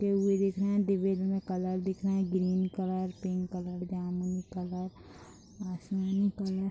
चिपके हुए दिख रहे दिवार में कलर दिख रहे ग्रीन कलर पिंक कलर जामुन कलर आसमानी कलर --